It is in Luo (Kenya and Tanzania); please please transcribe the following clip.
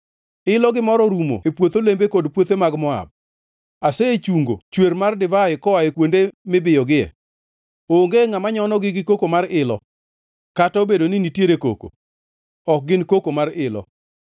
Ilo gi mor orumo e puoth olembe kod puothe mag Moab. Asechungo chwer mar divai koa e kuonde mibiyogie; onge ngʼama nyonogi gi koko mar ilo. Kata obedo ni nitiere koko, ok gin koko mar ilo.